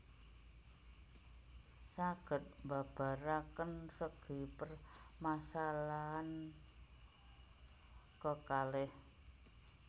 Saged mbabaraken segi permasalahan kekalih